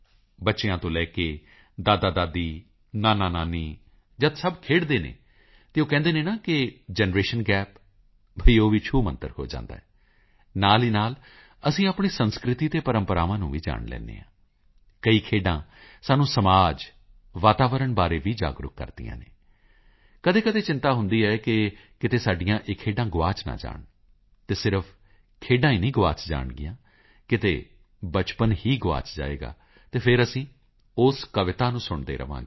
ਬੱਚਿਆਂ ਤੋਂ ਲੈ ਕੇ ਦਾਦਾਦਾਦੀ ਨਾਨਾਨਾਨੀ ਜਦ ਸਭ ਖੇਡਦੇ ਹਨ ਤਾਂ ਉਹ ਕਹਿੰਦੇ ਨੇ ਕਿ ਜਨਰੇਸ਼ਨ ਗੈਪ ਬਈ ਉਹ ਵੀ ਛੂਮੰਤਰ ਹੋ ਜਾਂਦਾ ਹੈ ਨਾਲ ਦੀ ਨਾਲ ਅਸੀਂ ਆਪਣੇ ਸੱਭਿਆਚਾਰ ਅਤੇ ਪ੍ਰੰਪਰਾਵਾਂ ਨੂੰ ਵੀ ਜਾਣ ਲੈਂਦੇ ਹਾਂ ਕਈ ਖੇਡਾਂ ਸਾਨੂੰ ਸਮਾਜ ਵਾਤਾਵਰਣ ਬਾਰੇ ਵੀ ਜਾਗਰੂਕ ਕਰਦੀਆਂ ਹਨ ਕਦੀਕਦੀ ਚਿੰਤਾ ਹੁੰਦੀ ਹੈ ਕਿ ਕਿਧਰੇ ਸਾਡੀਆਂ ਇਹ ਖੇਡਾਂ ਗੁਆਚ ਨਾ ਜਾਣ ਅਤੇ ਸਿਰਫ ਖੇਡਾਂ ਹੀ ਨਹੀਂ ਗੁਆਚ ਜਾਣਗੀਆਂ ਕਿਤੇ ਬਚਪਨ ਹੀ ਗੁਆਚ ਜਾਏਗਾ ਅਤੇ ਫਿਰ ਅਸੀਂ ਉਸ ਕਵਿਤਾ ਨੂੰ ਸੁਣਦੇ ਰਹਾਂਗੇ